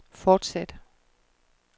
fortsæt